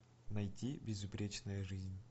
найти безупречная жизнь